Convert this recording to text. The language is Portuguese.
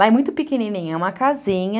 Lá é muito pequenininho, é uma casinha,